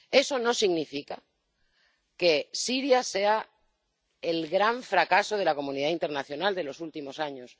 Eso no significa que Siria sea el gran fracaso de la comunidad internacional de los últimos años.